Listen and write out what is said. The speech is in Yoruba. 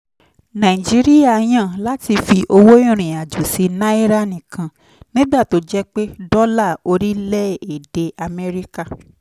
nàìjíríà yàn láti fi owó ìrìn-àjò sí náírà nìkan nígbà tó jẹ́ pé dọ́là orílẹ̀-èdè amẹ́ríkà